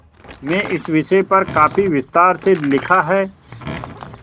में इस विषय पर काफी विस्तार से लिखा है